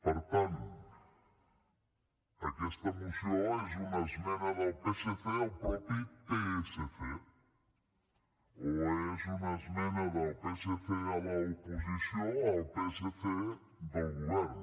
per tant aquesta moció és una esmena del psc al mateix psc o és una esmena del psc a l’oposició al psc del govern